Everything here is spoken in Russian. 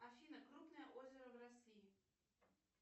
афина крупное озеро в россии